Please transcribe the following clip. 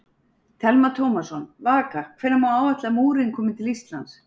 Telma Tómasson: Vaka, hvenær má áætla að múrinn komi til Íslands?